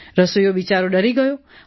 રસોઈયો બિચારો ડરી ગયો